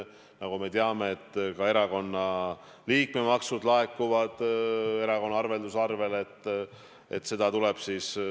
Nagu me teame, ka erakonna liikmemaksud laekuvad erakonna arvelduskontole.